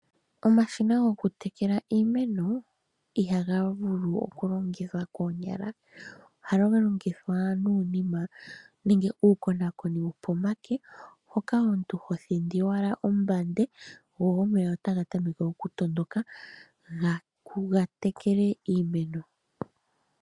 Omashina gokutekela iimeno ihaga vulu okulongithwa koonyala. Ohaga longithwa nuunima nenge uukonakoni wokomake hoka hotl yhindi kombande , omeya e taga tameke okutondoka ga tekele iimeno.